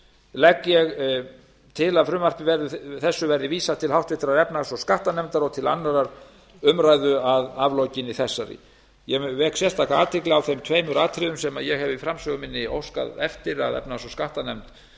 legg ég til að frumvarpi þessu verði vísað til háttvirtrar efnahags og skattanefndar og til annarrar umræðu að aflokinni þessari ég vek sérstaka athygli á þeim tveimur atriðum sem ég hef í framsögu minni óskað eftir að efnahags og skattanefnd